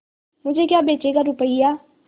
मुझे क्या बेचेगा रुपय्या